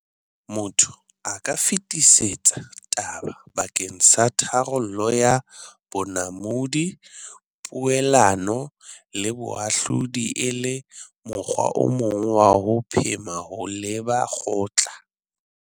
Motho a ka fetisetsa taba bakeng sa tharollo ka bonamodi, poelano le boahlodi, e le mokgwa o mong wa ho phema ho leba kgotla.